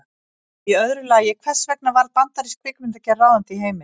Og í öðru lagi, hvers vegna varð bandarísk kvikmyndagerð ráðandi í heiminum?